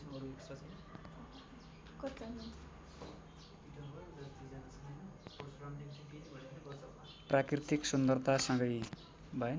प्राकृतिक सुन्दरतासँगै